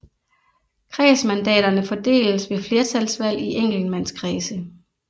Kredsmandaterne fordeles ved flertalsvalg i enkeltmandskredse